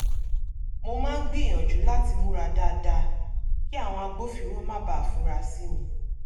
mo máa ń gbìyànjú láti múra dáadáa kí àwọn agbófinró má bàa fura sí mi